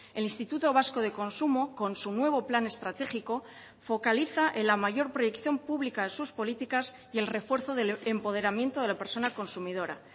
el instituto vasco de consumo con su nuevo plan estratégico focaliza en la mayor proyección pública de sus políticas y el refuerzo del empoderamiento de la persona consumidora